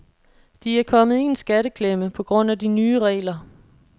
De er kommet i en skatteklemme på grund af de nye regler.